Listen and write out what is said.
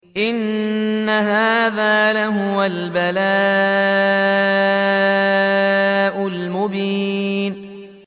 إِنَّ هَٰذَا لَهُوَ الْبَلَاءُ الْمُبِينُ